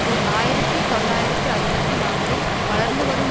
ஓர் ஆயிரத்தி தொள்ளாயிரத்து அறுபத்தி நான்கில் வளர்ந்துவரும்